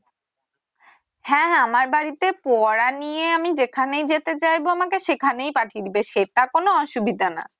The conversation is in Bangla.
হ্যাঁ হ্যাঁ আমার বাড়িতে পড়া নিয়ে আমি যেখানে যেতে চাইবো আমাকে সেখানেই পাঠিয়ে দিবে সেটা কোনো অসুবিধা না?